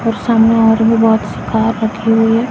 और सामने और भी बहोत सी कार रखी हुई है।